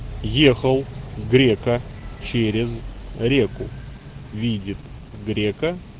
ехал грека через реку видит грека